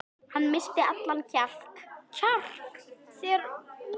Hann missti allan kjark þegar Víkingur fórst.